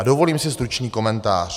A dovolím si stručný komentář.